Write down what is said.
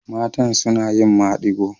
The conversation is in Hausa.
Matan suna yin maɗigo.